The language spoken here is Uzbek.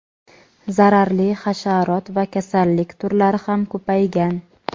Zararli hasharot va kasallik turlari ham ko‘paygan.